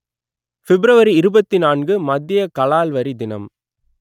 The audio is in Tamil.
பிப்ரவரி இருபத்தி நான்கு மத்திய கலால்வரி தினம்